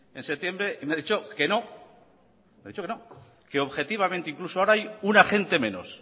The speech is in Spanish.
en septiembre y me ha dicho que no que objetivamente incluso ahora hay un agente menos